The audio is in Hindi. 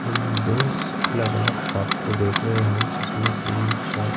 हम दोश अलग-अलग शॉप को देख रहे हैं जिसमें से एक शॉप --